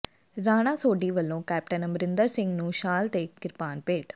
ਰਾਣਾ ਸੋਢੀ ਵੱਲੋਂ ਕੈਪਟਨ ਅਮਰਿੰਦਰ ਸਿੰਘ ਨੂੰ ਸ਼ਾਲ ਤੇ ਕਿਰਪਾਨ ਭੇਟ